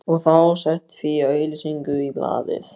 Og þá setti Fía auglýsingu í blaðið